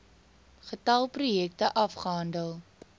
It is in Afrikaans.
getal projekte afgehandel